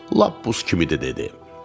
“lap buz kimidir” dedi.